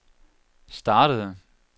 startede